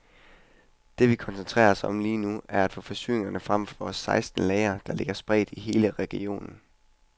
Det vi koncentrerer os om lige nu, er at få forsyninger frem fra vores seksten lagre, der ligger spredt i hele regionen.